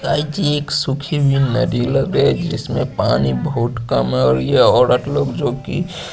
इयाय्ची एक सुखी मिर्च मेअदुलर बेच जिसमे पानी बहोत कम है और ये ओरत लोग जो कि --